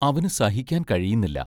അവനു സഹിക്കാൻ കഴിയുന്നില്ല.